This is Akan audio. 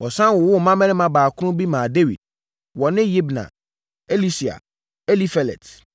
Wɔsane wowoo mmammarima baakron bi maa Dawid. Wɔne Yibhar, Elisua, Elifelet,